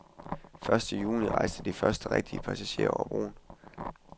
Første juni rejste de første rigtige passagerer over broen.